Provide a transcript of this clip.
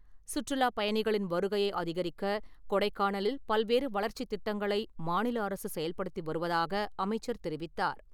சுற்றுலாப் பயணிகளின் வருகையை அதிகரிக்க கொடைக்கானலில் பல்வேறு வளர்ச்சித் திட்டங்களை மாநில அரசு செயல்படுத்தி வருவதாக அமைச்சர் தெரிவித்தார்.